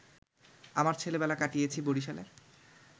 আমার ছেলেবেলা কাটিয়েছি বরিশালে